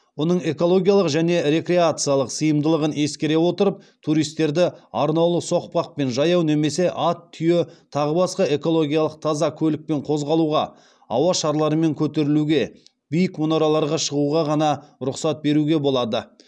оның экологиялық және рекреациялық сыйымдылығын ескере отырып туристерді арнаулы соқпақпен жаяу немесе ат түйе тағы басқа экологиялық таза көлікпен қозғалуға ауа шарларымен көтерілуге биік мұнараларға шығуға ғана рұқсат беруге болады